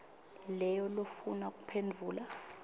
leyo lofuna kuphendvula